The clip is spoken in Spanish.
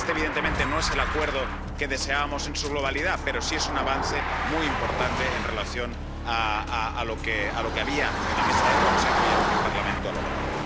Este, evidentemente, no es el acuerdo que deseábamos en su globalidad, pero sí es un avance muy importante teniendo en cuenta lo que había en la mesa del Consejo y lo que el Parlamento ha logrado.